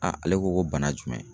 ale ko ko bana jumɛn.